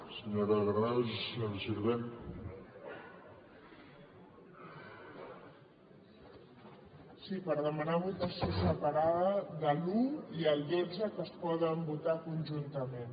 sí per demanar votació separada de l’un i el dotze que es poden votar conjuntament